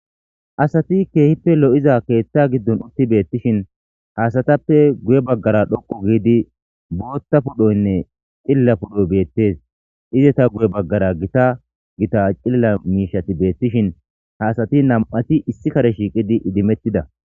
Asati keehippe lo'iza keethta giddon utti beettishin haasatappe guye baggara dhoqu giidi bootta pudhoynne xilla pudhoy beettes ize ta guye baggara gita gita cilla miishati beettishin haasati na'mati issi kare shiiqidi idimettida